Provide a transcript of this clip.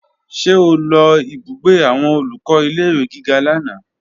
Ṣé o lọ ìbúgbé àwọn Olùkọ́ ilé-ìwé gíga lánàá?